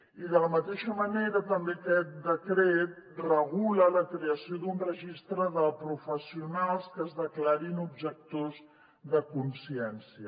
i de la mateixa manera també aquest decret regula la creació d’un registre de professionals que es declarin objectors de consciència